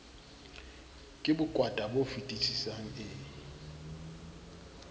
ke bokwata bo fetisisang e